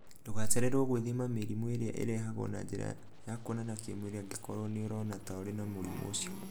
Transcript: Ndũgacererwo gwĩthima mĩrimũ ĩrĩa ĩrehagwo na njĩra ya kuonana kĩmwĩrĩ angĩkorũo nĩ ũrona ta ũrĩ na mũrimũ ũcio.